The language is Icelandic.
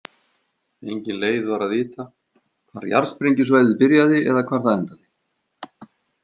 Engin leið var að vita hvar jarðsprengjusvæðið byrjaði eða hvar það endaði.